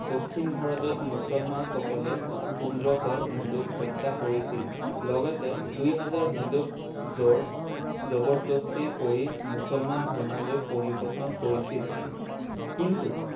দক্ষিণ ভাৰতত মুছলমান সকলে পোন্ধৰশ হিন্দুক হত্যা কৰিছিল লগতে দুই হাজাৰ হিন্দুক জোৰ জবৰদস্তি কৰি মুছলমান ধৰ্মলৈ পৰিবৰ্তন কৰিছিল কিন্তু